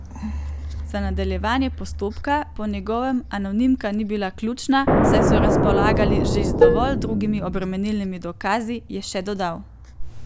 Za nadaljevanje postopka po njegovem anonimka ni bila ključna, saj so razpolagali z že dovolj drugimi obremenilnimi dokazi, je še dodal.